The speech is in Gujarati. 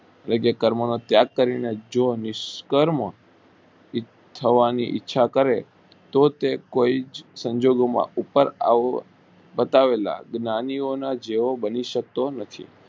એ જે કર્મો નો ત્યાગ કરી ને જો નિશ્રકર કર્મ થવાની ઈચ્છા કરે તો તે કોઈ જ સંજોગો માં ઉપર આવા પટાવેલા જ્ઞાની ઓ ના જેવા બની સકતા નથી.